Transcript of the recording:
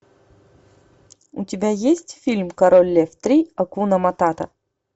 у тебя есть фильм король лев три акуна матата